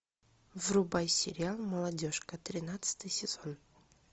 врубай сериал молодежка тринадцатый сезон